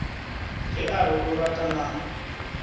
ge a re o ratana